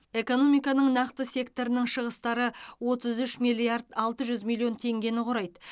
экономиканың нақты секторының шығыстары отыз үш миллиард алты жүз миллион теңгені құрайды